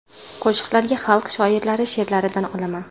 Qo‘shiqlarga xalq shoirlari she’rlaridan olaman.